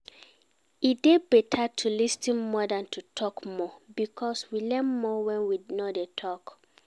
E dey better to lis ten more than to talk more because we learn more when we no dey talk